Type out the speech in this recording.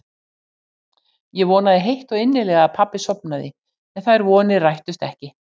Ég vonaði heitt og innilega að pabbi sofnaði en þær vonir rættust ekki.